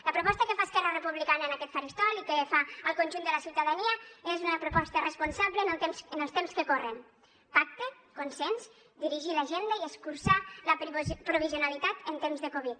la proposta que fa esquerra republicana en aquest faristol i que fa al conjunt de la ciutadania és una proposta responsable en els temps que corren pacte consens dirigir l’agenda i escurçar la provisionalitat en temps de covid